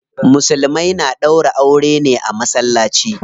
Musulmai na ɗaura aure ne a masallaci.